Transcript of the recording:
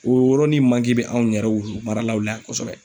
O yɔrɔnin manke be anw yɛrɛ wulumalaw la yan kosɛbɛ